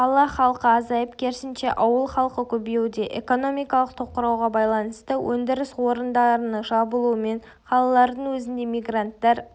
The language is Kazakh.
қала халқы азайып керісінше ауыл халқы көбеюде экономикалық тоқырауға байланысты өндіріс орындарының жабылуымен қалалардың өзінде мигранттар